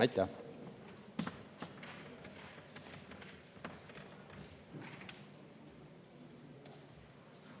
Aitäh!